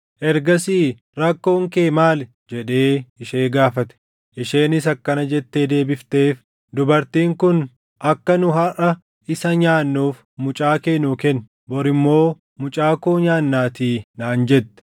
Ergasii, “Rakkoon kee maal?” jedhee ishee gaafate. Isheenis akkana jettee deebifteef; “Dubartiin kun, ‘Akka nu harʼa isa nyaannuuf mucaa kee nuu kenni; bor immoo mucaa koo nyaannaatii’ naan jette.